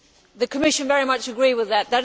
The Commission very much agrees with that.